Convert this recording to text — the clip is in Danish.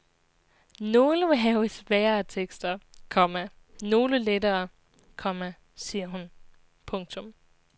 Nogle må have sværere tekster, komma nogle lettere, komma siger hun. punktum